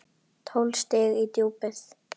Tólf stig í djúpið.